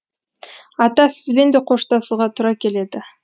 ата сізбен де қоштасуға тура келеді